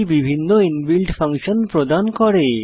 এটি বিভিন্ন inbuilt function প্রদান করে